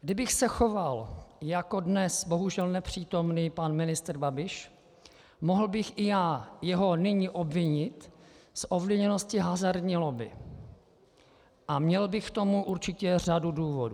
Kdybych se choval jako dnes bohužel nepřítomný pan ministr Babiš, mohl bych i já jeho nyní obvinit z ovlivněnosti hazardní lobby a měl bych k tomu určitě řadu důvodů.